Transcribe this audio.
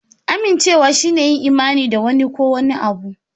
Amincewa shine yin imani da wani ko wani abu.